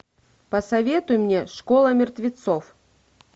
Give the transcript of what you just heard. посоветуй мне школа мертвецов